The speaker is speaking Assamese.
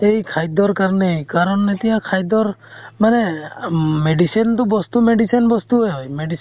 এই খাদ্য়ৰ কাৰণেই, কাৰণ এতিয়া খাদ্য়ৰ মানে ম medicine তো বস্তু medicine বস্তুয়ে হয় । medicine